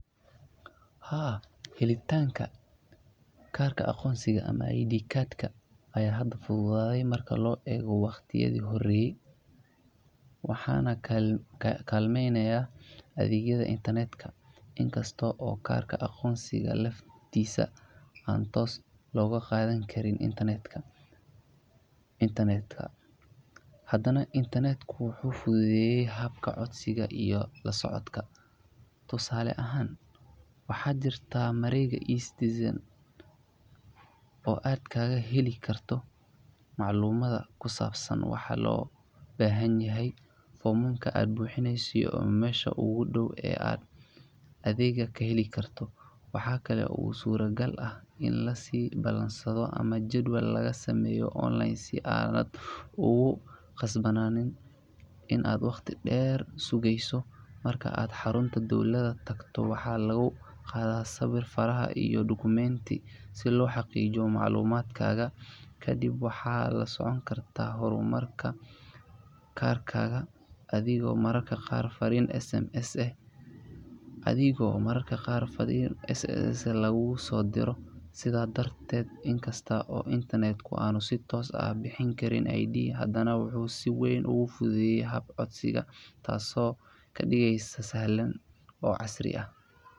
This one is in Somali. Haa heli taanka karka aqoonsiga ama ID Card aya hada fududade marka lo ego waqtii yadii horey waxaan kalmeynaya adeegyada Internet in kasto karka aqoonsiga laftiisa aan tos logo qadhani karin Internet ka hadaana Internet wuxu fududeye habka codsiga iyo lasocodka tusale ahan waxa jirta oo aad kaga heli karto maclumada kusabsan waxa lobahyaha ogu foomka aad buxiineyso mesha ogu daawo oo ad kaheli karto waaxa kale oo sura gal ah in lasi balansado ama jadwal laga sameyo online sidhaa kuqasbanane ina waqtii deer sugeyso marka ad xarunta dawlada tagto lagu qada sawir iyo faraha Document sii loxaqiijiyo maclumad kaga kadib waxa lasoconi karta hormarka karkaga adhigo mararka qaar faarin SMS eh laagu sodiiro siidha darte in kasta aan Internet sii toosa bixini karin ID hadaana wuuxu si weyn ugu fudud haab codsiiga taaso kadiigeyso sii sahlan oo casriya.